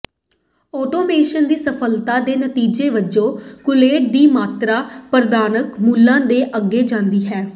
automation ਦੀ ਅਸਫਲਤਾ ਦੇ ਨਤੀਜੇ ਵਜੋਂ ਕੂਲੈਂਟ ਦੀ ਮਾਤਰਾ ਪ੍ਰਵਾਨਤ ਮੁੱਲਾਂ ਤੋਂ ਅੱਗੇ ਜਾਂਦੀ ਹੈ